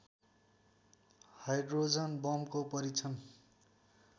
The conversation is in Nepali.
हाइड्रोजन बमको परीक्षण